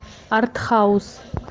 арт хаус